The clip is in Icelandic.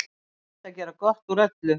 Reynt að gera gott úr öllu.